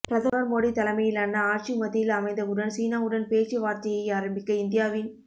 பிரதமர் மோடி தலைமையிலான ஆட்சி மத்தியில் அமைந்தவுடன் சீனாவுடன் பேச்சு வார்த்தையை ஆரம்பிக்க இந்தியாவின்